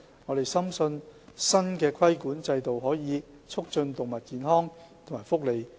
我們深信，新的規管制度可以促進動物健康和福利。